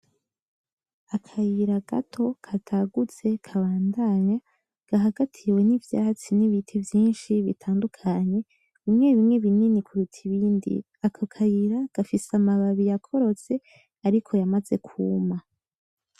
Akayira gato katagutse kabandanya kahagatiwe n'ivyatsi n'ibiti vyinshi bitadukanye bimwebimwe n'ibinini kuruta ibindi, ako kayira gafise amababi yakorotse ariko yamaze kuma.